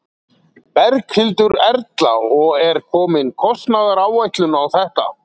Berghildur Erla: Og er komin kostnaðaráætlun á þetta?